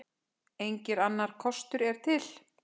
Enginn annar kostur er til.